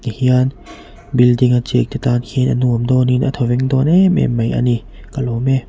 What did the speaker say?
hian building a chêngte tân khian a nuam dâwnin a thawveng dâwn êm êm mai a ni ka lâwm e.